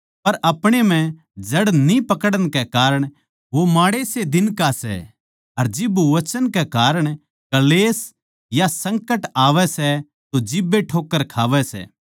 पर अपणे म्ह जड़ न्ही पकड़न कै कारण वो माड़े से दिन का सै अर जिब वचन कै कारण क्ळेश या संकट आवै सै तो जिब्बे ठोक्कर खावै सै